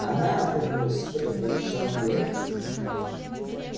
она отвернулась судорожно сжав кулаки